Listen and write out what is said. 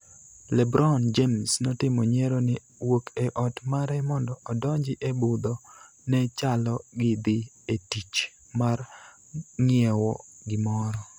LeBron James notimo nyiero ni wuok e ot mare mondo odonji e budho ne chalo gi dhi e tich mar ng�iewo gimoro.